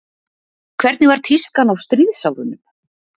Hvernig var tískan á stríðsárunum?